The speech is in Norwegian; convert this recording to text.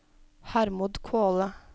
Hermod Kvåle